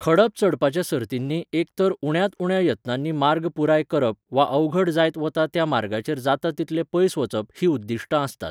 खडप चडपाच्या सर्तींनी एक तर उण्यांत उण्या यत्नांनी मार्ग पुराय करप वा अवघड जायत वता त्या मार्गाचेर जाता तितलें पयस वचप हीं उद्दिश्टां आसतात.